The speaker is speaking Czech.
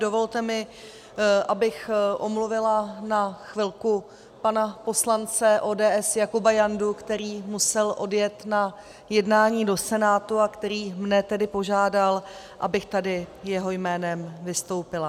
Dovolte mi, abych omluvila na chvilku pana poslance ODS Jakuba Jandu, který musel odjet na jednání do Senátu a který mě tedy požádal, abych tady jeho jménem vystoupila.